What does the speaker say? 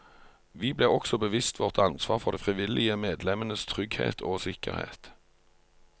Vi ble også bevisst vårt ansvar for de frivillige medlemmenes trygghet og sikkerhet.